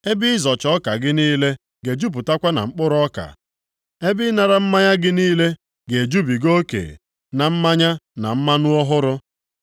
Ebe ịzọcha ọka gị niile ga-ejupụtakwa na mkpụrụ ọka, ebe ịnara mmanya gị niile ga-ejubiga oke na mmanya na mmanụ ọhụrụ.